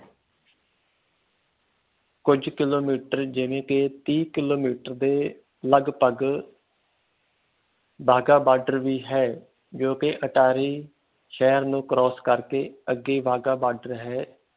ਕੁਜ ਕਿਲੋਮੀਟਰ ਜਿਵੇ ਕਿ ਤੀਹ ਕਿਲੋਮੀਟਰ ਦੇ ਕਗਭਗ ਵਾਘਾ ਬਾਰਡਰ ਵੀ ਹੈ ਜੋ ਕਿ ਅਟਾਰੀ ਸ਼ਹਿਰ cross ਨੂੰ ਕਰਕੇ ਅੱਗੇ ਵਾਗਾ ਬਾਰਡਰ ਹੈ